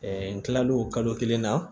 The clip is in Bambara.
n kila l'o kalo kelen na